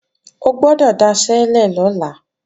O gbọ́dọ̀ daṣẹ́lẹ̀ lọ́la!